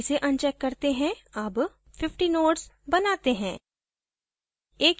अतः इसे अनचेक करते हैं अब 50 nodes बनाते हैं